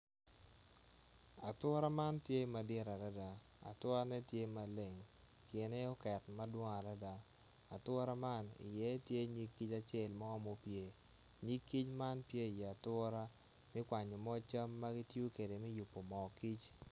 Ature man tye madit adada ature ne tye maleng, kine oket madwong adada ature man i ye tye nyig kic acel mo, nyig kic man tye i yatura tye kwanyo moc cam magitiyo kede me yubo mo kic.